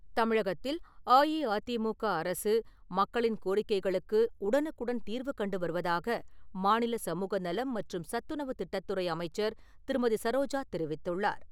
தமிழகத்தில் அஇஅதிமுக அரசு மக்களின் கோரிக்கைகளுக்கு உடனுக்குடன் தீர்வுகண்டு வருவதாக மாநில சமூக நலம் மற்றும் சத்துணவுத் திட்டத்துறை அமைச்சர் திருமதி. சரோஜா தெரிவித்துள்ளார் .